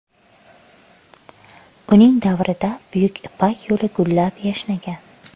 Uning davrida Buyuk Ipak yo‘li gullab-yashnagan.